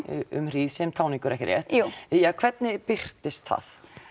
um hríð sem táningur hvernig birtist það